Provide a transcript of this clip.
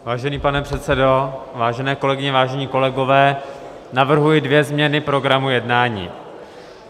Vážený pane předsedo, vážené kolegyně, vážení kolegové, navrhuji dvě změny programu jednání.